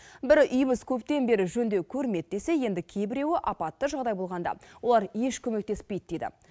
бірі үйіміз көптен бері жөндеу көрмеді десе енді кейбіреуі апатты жағдай болғанда олар еш көмектеспейді дейді